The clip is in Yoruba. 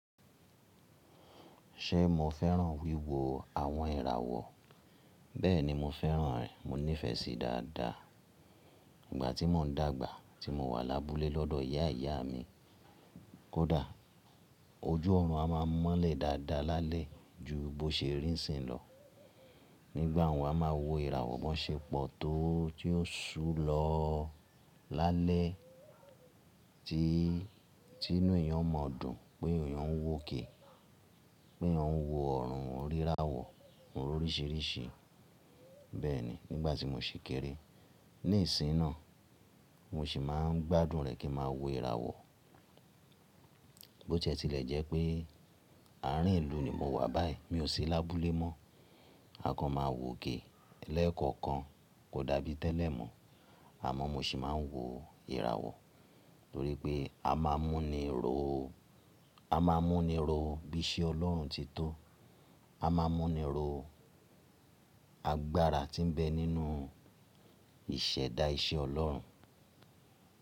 Ṣé mo fẹ́ràn wíwo àwọn ìràwọ̀? Bẹ́ẹ̀ni mo fẹ́ràn rẹ̀, mo nífẹ̀ẹ́ sí i dáadáa. Ìgbà tí mò ń dàgbà, tí mo wà lábúlé lọ́dọ̀ ìyá ìyá mi kódà, ojú ọ̀run a máa mọ́lẹ̀ dáadáa lálẹ́ ju bó ṣe rí ń sìn lọ. Nígbà wọ́n a máa wo ìràwọ̀, bọn ṣepọ to tí ó ṣúu lọ lálẹ́ tí, tí inú èèyàn o maa dùn pé èèyàn ń wò okè, pé eeyan ń wo ọ̀run oun ríràwọ̀, oun r'oríṣìíríṣìí. Bẹ́ẹ̀ni nígbà tí mo ṣì kéré. Nísìnyi náà, mo sì máa ń gbádùn rẹ̀ kí n máa wo ìràwọ̀. Bó tí e tilẹ̀ jẹ́ pé àárín ìlú ni mo wà báyìí, mi ò sí lábúlé mọ́, a kan máa wòkè lẹ́ẹ̀kọ̀kan, kò dàbí tẹ́lẹ̀ mọ́. Àmọ́ mo sì máa ń wo ìràwọ̀ torí pé a máa mú ni ro, a máa mú ni ro bí iṣẹ́ Ọlọ́run ti tó, a máa mú ni ro agbára tí ń bẹ nínú ìṣẹ̀dá iṣẹ́ Ọlọ́run.